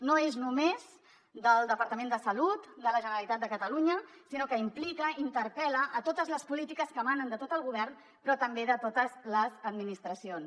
no és només del departament de salut de la generalitat de catalunya sinó que implica interpel·la totes les polítiques que emanen de tot el govern però també de totes les administracions